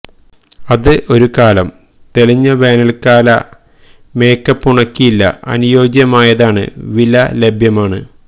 അത് ഒരു കാലം തെളിഞ്ഞ വേനൽക്കാല മേക്കപ്പ് ഉണക്കി ഇല്ല അനുയോജ്യമായതാണ് വില ലഭ്യമാണ്